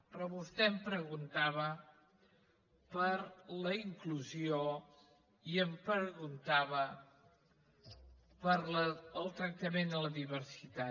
però vostè em preguntava per la inclusió i em preguntava pel tractament a la diversitat